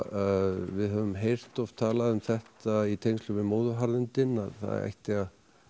við höfum heyrt oft talað um þetta í tengslum við móðuharðindin að það ætti að